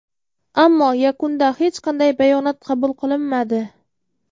ammo yakunda hech qanday bayonot qabul qilinmadi.